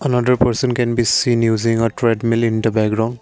on hundred percent can be seen using a treadmill in the background.